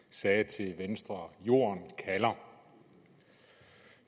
sagde til venstre jorden kalder